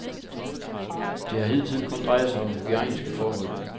Det har hidtil kun drejet sig om hygiejniske forhold.